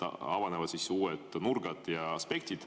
Avanevad uued nurgad ja aspektid.